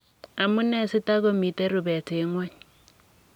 Amu nee si takomitei rubet eng ng'ony?